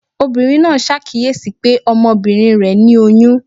obírín naa sàkiyesí pe Ọmọbinrin re ni oyún.